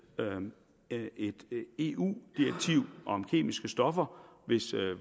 et eu direktiv om kemiske stoffer hvis